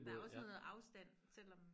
Der også noget afstand selvom